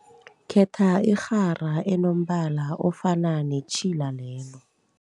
Khetha irhara enombala ofana netjhila lelo.